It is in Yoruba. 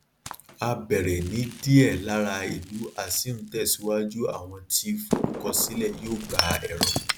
a bẹrẹ ní díẹ lára ìlú a sì ń tẹsíwájú àwọn tí forúkọsílẹ yóò gba ẹrọ